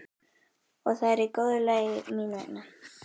Og það er í góðu lagi mín vegna.